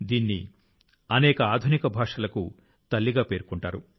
దీన్ని అనేక ఆధునిక భాషలకు తల్లిగా పేర్కొంటారు